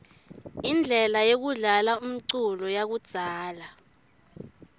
inblela yekudlala umculo yakudzala